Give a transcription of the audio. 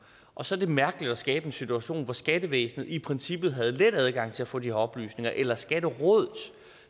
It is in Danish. og så er det mærkeligt at skabe en situation hvor skattevæsenet i princippet ville have let adgang til at få de oplysninger eller at skatterådet